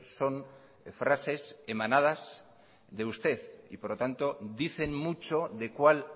son frases emanadas de usted y por lo tanto dicen mucho de cuál